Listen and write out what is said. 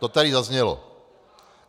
To tady zaznělo.